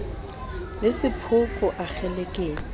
le sephoko a kgelekenya ho